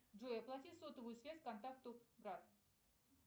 джой оплати сотовую связь контакту брат